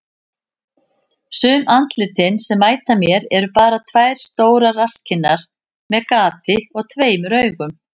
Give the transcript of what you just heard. Sum andlitin sem mæta mér eru bara tvær stórar rasskinnar með gati og tveimur augum.